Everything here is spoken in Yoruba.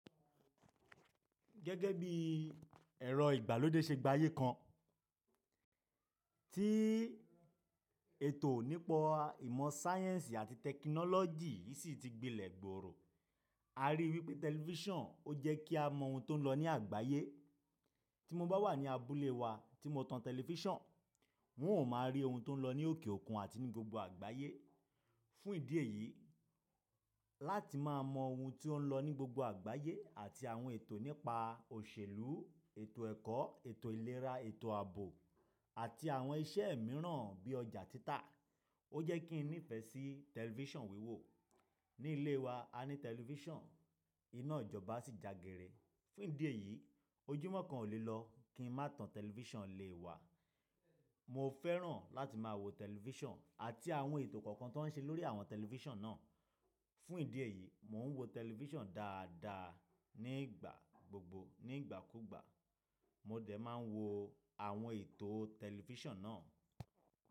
Gẹ́gẹ́ bí ẹ̀rọ ìgbàlódé ṣe gbayí kan, tí ètò nípa ìmọ̀ sáyẹ́ǹsì àti tẹkinọ́lọ́jì yìí ṣì ti gbilẹ̀ gbòòrò. A rí i wípé tẹlifíṣàn, ó jẹ́ kí a mọ ohun tó ń lọ ní àgbáyé. Tí mo bá wà ní abúlé wa tí mo tan tẹlifíṣàn, n ò máa rí ohun tó ń lọ ní òkè òkun àti ní gbogbo àgbáyé. Fún ìdí èyí, láti máa mọ ohun tí ó ń lọ ní gbogbo àgbáyé àti àwọn ètò nípa òṣèlú, ètò ẹ̀kọ́, ètò ìlera, ètò ààbò àti àwọn iṣẹ́ mìíràn bí ọjà títà. Ó jẹ́ kí n nífẹ̀ẹ́ sí tẹlifíṣàn wíwo. Ní ilé wa, a ní tẹlifíṣàn, iná ìjọba ṣì jagere. Fún ìdí èyí, ojúmọ́ kan ò lè lọ kí n má tan tẹlifíṣàn nilé wa. Mo fẹ́ràn láti máa wo tẹlifíṣàn àti àwọn ètò kọ̀ọ̀kan tó ń ṣe lórí àwọn tẹlifíṣàn náà. Fún ìdí èyí, mò ń wo tẹlifíṣàn dáadáa nígbà gbogbo. Ní ìgbà kúgbà, mo dẹ̀ máa wo àwọn ètò tẹlifíṣàn náà.